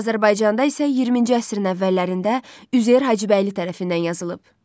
Azərbaycanda isə 20-ci əsrin əvvəllərində Üzeyir Hacıbəyli tərəfindən yazılıb.